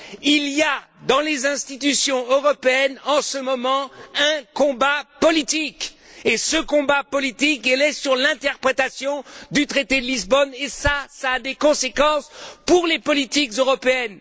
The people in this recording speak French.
Il y a dans les institutions européennes, en ce moment, un combat politique, et ce combat politique porte sur l'interprétation du traité de Lisbonne et cela a des conséquences pour les politiques européennes.